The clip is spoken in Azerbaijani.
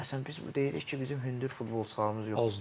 Məsələn biz deyirik ki, bizim hündür futbolçularımız yoxdur.